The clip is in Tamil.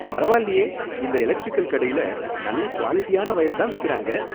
பரவாயில்லயே! இந்த எலக்டிரிக்கல் கடையில நல்ல குவாலிடியான வயர தான் விக்கறாங்க